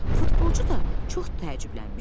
Futbolçu da çox təəccüblənmişdi.